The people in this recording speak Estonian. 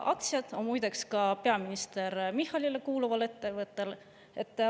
Aktsiad on muide ka peaminister Michalile kuuluval ettevõttel.